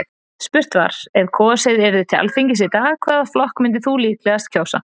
Spurt var, ef kosið yrði til Alþingis í dag, hvaða flokk myndir þú líklegast kjósa?